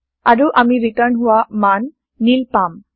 আৰু আমি ৰিটাৰ্ণ হোৱা মান নীল পাম